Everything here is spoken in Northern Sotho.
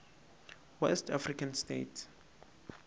west african states